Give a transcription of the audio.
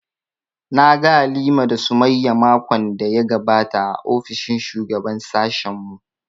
Na ga Halima da Sumayya makon da ya gabata a ofishin shugaban sashen mu